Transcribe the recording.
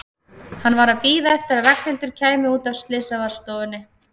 Hann var að bíða eftir að Ragnhildur kæmi út af slysavarðstofunni.